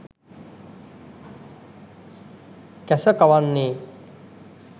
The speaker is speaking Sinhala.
කැස කවන්නේ